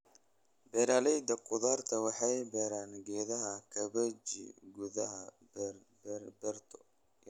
Beeraleyda khudaarta waxay beeraan geedaha kabeji gudaha beerto yar.